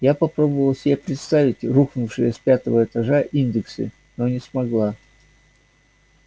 я попробовала себе представить рухнувшие с пятого этажа индексы но не смогла